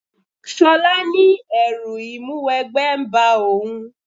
Ṣọlá ní ẹrú Ìmúwẹgbẹ́ ń ba òun